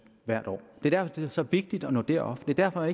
hvert år det er det er så vigtigt at nå derop det er derfor